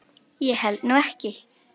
Ég held nú ekki.